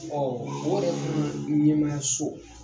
o yɛrɛ fan ɲɛmaayaso